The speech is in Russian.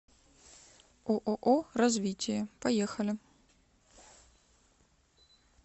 ооо развитие поехали